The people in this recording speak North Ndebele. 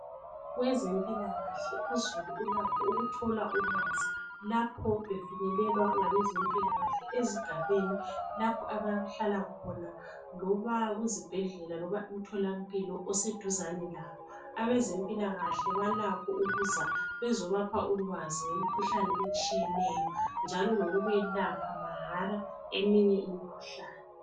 Kwezempilakahle uzulu ulakho ukuthola ulwazi lapho befinyelelwa ngabe mpilakahle ezigabeni lapho abahlala khona loba kuzibhedlela loba emthola mpilo oseduzane labo ,abezimpilakahle balakho ukuza bezo bapha ulwazi ngemikhuhlane etshiyeneyo njalo lokuba yelapha mahara eminye imikhuhlane .